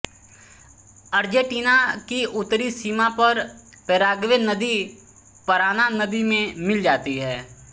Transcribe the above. Argentina की उत्तरी सीमा पर पैराग्वे नदी पराना नदी में मिल जाती हैं